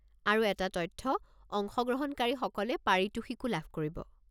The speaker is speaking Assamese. আৰু এটা তথ্য, অংশগ্ৰহণকাৰীসকলে পাৰিতোষিকো লাভ কৰিব।